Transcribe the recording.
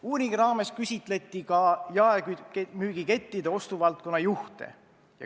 Uuringu raames küsitleti ka jaemüügikettide ostuvaldkonna juhte.